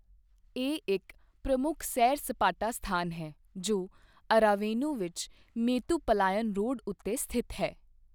ਇਹ ਇੱਕ ਪ੍ਰਮੁੱਖ ਸੈਰ ਸਪਾਟਾ ਸਥਾਨ ਹੈ, ਜੋ ਅਰਾਵੇਨੂ ਵਿੱਚ ਮੇਤੂਪਲਾਯਮ ਰੋਡ ਉੱਤੇ ਸਥਿਤ ਹੈ।